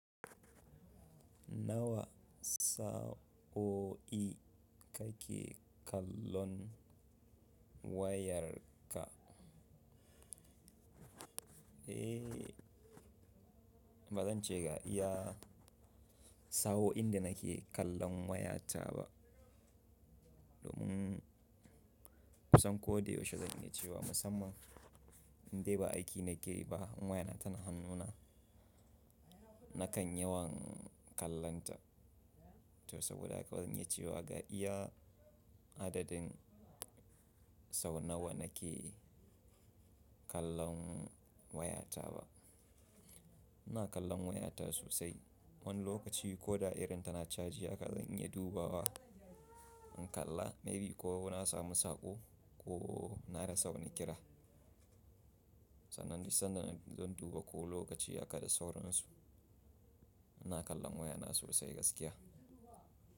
Nawa sa'o'i ka ke kallon wayarka? Eh, bazan ce ga iya sa'o'in da nake kallon wayata ba. Domin kusan ko da yaushe zan iya cewa musamman indai ba aiki na ke yi ba wayana tana hannuna nakan yawan kallonta. To saboda haka ban iya cewa ga iya adadin sau nawa nake kallon wayata ba. Ina kallon wayata sosai. Wani lokaci ko da irin ta na caji haka zan iya duba wa in kalla maybe ko na samu saƙo ko na rasa wani kira. Sannan duk sanda zan duba ko lokaci haka da sauran su. Ina kallon waya na sosai gaskiya.